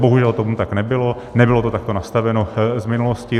Bohužel tomu tak nebylo, nebylo to takto nastaveno z minulosti.